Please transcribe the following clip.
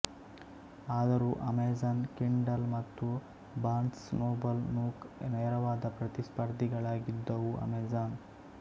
ಆದರೂ Amazon Kindle ಮತ್ತು Barnes Noble Nook ನೇರವಾದ ಪ್ರತಿಸ್ಪರ್ಧಿಗಳಾಗಿದ್ದವು ಅಮೆಜಾನ್